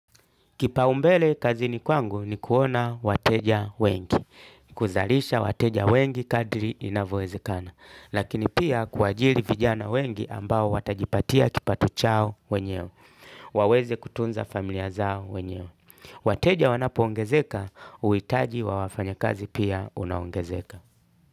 Kipaumbele kazi ni kwangu ni kuona wateja wengi. Kuzarisha wateja wengi kadri inavyowezekana. Lakini pia kuajiri vijana wengi ambao watajipatia kipato chao wenyewe. Waweze kutunza familia zao wenyeo. Wateja wanapo ongezeka, uitaji wa wafanya kazi pia unaongezeka.